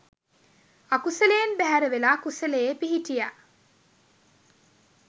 අකුසලයෙන් බැහැරවෙලා කුසලයේ පිහිටියා.